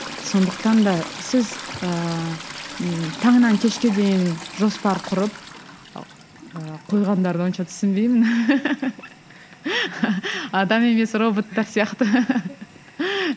сондықтан да сіз ыыы таңнан кешке дейін жоспар құрып ыыы қойғандарды онша түсінбеймін адам емес роботтар сияқты